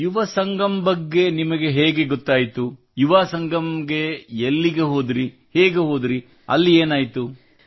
ಯುವ ಸಂಗಮ್ ಬಗ್ಗೆ ನಿಮಗೆ ಹೇಗೆ ಗೊತ್ತಾಯಿತು ಯುವಾ ಸಂಗಮಕ್ಕೆ ಎಲ್ಲಿಗೆ ಹೋದಿರಿ ಹೇಗೆ ಹೋದಿರಿ ಅಲ್ಲಿ ಏನಾಯಿತು